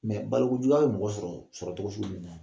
balokojuguya bɛ mɔgɔ sɔrɔ sɔrɔcogo sugu min na